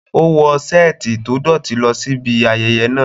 O wọ seeti to dọti lọ si ibi ayeye naa